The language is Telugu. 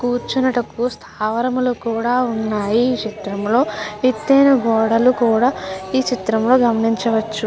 కూర్చొనుటకు స్థావరములు కూడా ఉన్నాయి ఈ చిత్రములో ఎతైన గోడలు కూడా ఈ చిత్రములో గమనించవచ్చు.